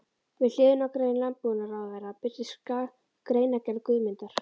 Við hliðina á grein landbúnaðarráðherra birtist greinargerð Guðmundar